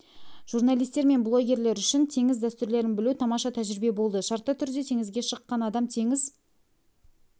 журналистер мен блогерлер үшін теңіз дәстүрлерін білу тамаша тәжірибе болды шартты түрде теңізге шыққан адам теңіз